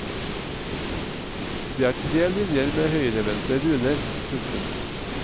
Det er tre linjer med høyrevendte runer. punktum